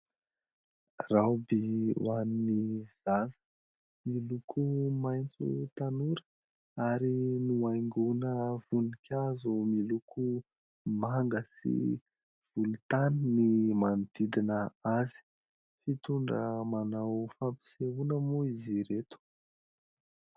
"Robe" ho an'ny zaza miloko maitso tanora ary nohaingoina voninkazo miloko manga sy volontany ny manodidina azy. Fitondra manao fampisehoana moa izy ireto.